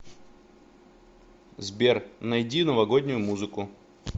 сбер найди новогоднюю музыку